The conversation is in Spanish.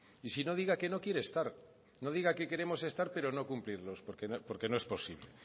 y si no diga que no quiere estar no diga que queremos estar pero no cumplirlos porque no es posible